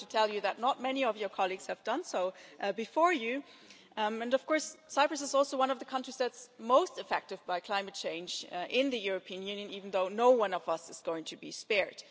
I have to tell you that not many of your colleagues have done so before you, and of course Cyprus is also one of the countries that's most affected by climate change in the European Union, even though none of us is going to be spared.